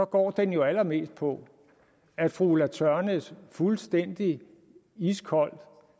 går den jo allermest på at fru ulla tørnæs fuldstændig iskoldt